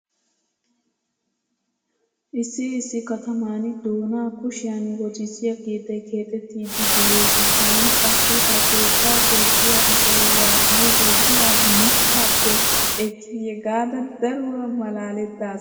Issi issi kataman doonaa kushiyan wotissiya keettay keexettiiddi de'ees. Taani qassi he keettaa keexxiya asay waa aybee biraa mittaappe ekkiiyye gaada daruwa malaalettaas.